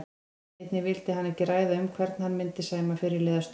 Einnig vildi hann ekki ræða um hvern hann myndi sæma fyrirliðastöðunni.